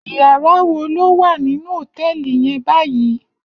Iyàrá wó ló wá ninú hótèlí yèn bàyí?